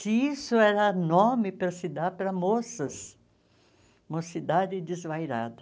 Se isso era nome para se dar para moças, Mocidade Desvairada.